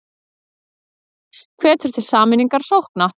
Hvetur til sameiningar sókna